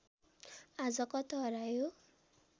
आज कता हरायो